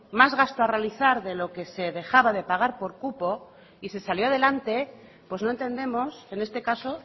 más gasto a realizar de lo que se dejaba de pagar por cupo y se salió adelante pues no entendemos en este caso